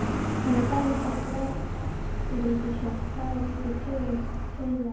Hann er dæmigert blágrýtisfjall, hlaðinn upp úr tugum hraunlaga.